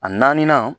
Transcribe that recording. A naaninan